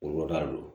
O ka don